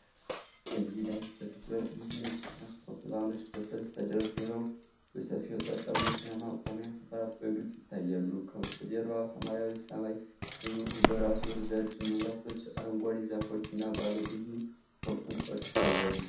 እዚህ ላይ በትኩረት ብዙ ነጭ የትራንስፖርት ቫኖች በሰልፍ ተደርድረው በሰፊው የጠጠር መኪና ማቆሚያ ስፍራ በግልጽ ይታያሉ። ከበስተጀርባ ሰማያዊው ሰማይ በብሩህ በራሱ፣ ረጃጅም መብራቶች፣ አረንጓዴ ዛፎች እና ባለ ብዙ ፎቅ ሕንፃዎች ይታያሉ።